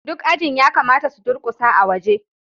duk ajin ya kamata su durƙusa a waje